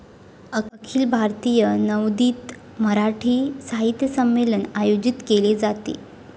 अखिल भारतीय नवोदित मराठी साहित्य संमेलन आयोजित केले जाते.